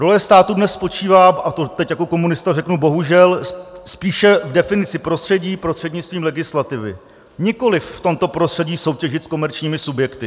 Role státu dnes spočívá - a to teď jako komunista řeknu bohužel - spíše v definici prostředí prostřednictvím legislativy, nikoliv v tomto prostředí soutěžit s komerčními subjekty.